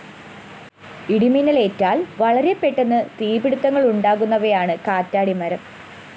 ഇടിമിന്നലേറ്റാല്‍ വളരെ പെട്ടെന്ന് തീപിടുത്തങ്ങളുണ്ടാകുന്നവയാണ് കാറ്റാടിമരം